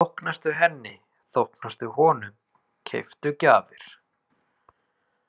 Þóknastu henni, þóknastu honum, keyptu gjafir.